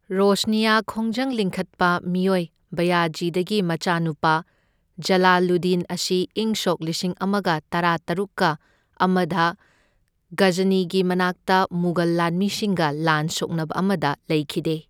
ꯔꯣꯁꯅꯤꯌꯥ ꯈꯣꯡꯖꯪ ꯂꯤꯡꯈꯠꯄ ꯃꯤꯑꯣꯏ ꯕꯌꯥꯖꯤꯗꯒꯤ ꯃꯆꯥꯅꯨꯄꯥ ꯖꯂꯥꯂꯨꯗꯤꯟ ꯑꯁꯤ ꯏꯪ ꯁꯣꯛ ꯂꯤꯁꯤꯡ ꯑꯃꯒ ꯇꯔꯥꯇꯔꯨꯛꯀ ꯑꯃꯗ ꯘꯖꯅꯤꯒꯤ ꯃꯅꯥꯛꯇ ꯃꯨꯒꯜ ꯂꯥꯟꯃꯤꯁꯤꯡꯒ ꯂꯥꯟ ꯁꯣꯛꯅꯕ ꯑꯃꯗ ꯂꯩꯈꯤꯗꯦ꯫